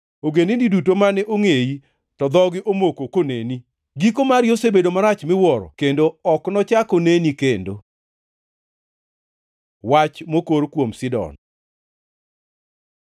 Ogendini duto mane ongʼeyi, to dhogi omoko koneni; giko mari osebedo marach miwuoro kendo ok nochak oneni kendo.’ ” Wach mokor kuom Sidon